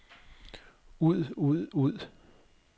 ud ud ud